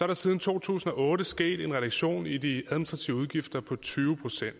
der siden to tusind og otte er sket en reduktion i de administrative udgifter på tyve procent